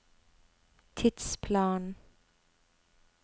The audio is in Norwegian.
tidsplanen